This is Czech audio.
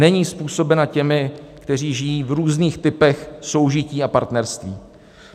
Není způsobena těmi, kteří žijí v různých typech soužití a partnerství.